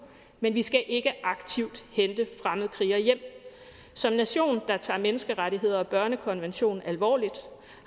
men vi skal ikke aktivt hente fremmedkrigere hjem som nation der tager menneskerettigheder og børnekonvention alvorligt